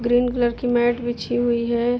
Green colour की mat बिछी हुई है।